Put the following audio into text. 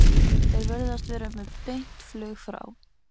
Þeir virðast vera með beint flug frá